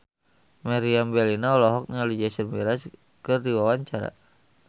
Meriam Bellina olohok ningali Jason Mraz keur diwawancara